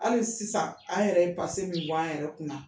Hali sisan an yɛrɛ ye min bɔ an yɛrɛ kunna.